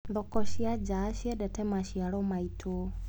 Thoko cia nja ciendete maciaro maitũ.